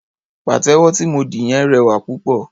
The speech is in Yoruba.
Pàtẹ́wọ́ tí mo dì yẹn rẹwà púpọ̀.